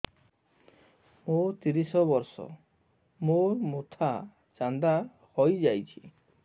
ମୋ ତିରିଶ ବର୍ଷ ମୋ ମୋଥା ଚାନ୍ଦା ହଇଯାଇଛି